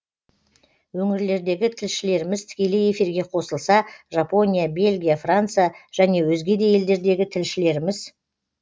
өңірлердегі тілшілеріміз тікелей эфирге қосылса жапония белгия франция және өзге де елдердегі тілшілеріміз